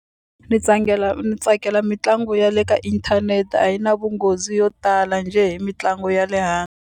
Ni ni tsakela mitlangu ya le ka inthanete a yi na vunghozi yo tala njhe hi mitlangu ya le .